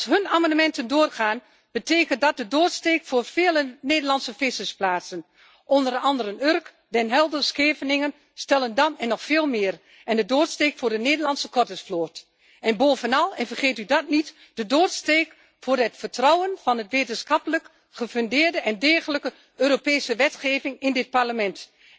Als hun amendementen doorgaan, betekent dat de doodsteek voor vele Nederlandse vissersplaatsen zoals Urk, Den Helder, Scheveningen, Stellendam en nog veel meer, en de doodsteek voor de Nederlandse kottervloot. En bovenal en vergeet u dat niet de doodsteek voor het vertrouwen in de wetenschappelijk gefundeerde en degelijke Europese wetgeving in dit Parlement.